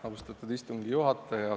Austatud istungi juhataja!